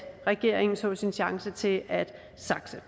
regeringen så sin chance til at sakse